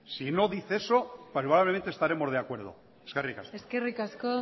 si no dice eso probablemente estemos de acuerdo eskerrik asko eskerrik asko